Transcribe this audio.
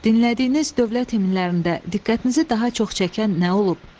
Dinlədiyiniz dövlət himnlərində diqqətinizi daha çox çəkən nə oldu?